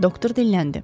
Doktor dinləndi.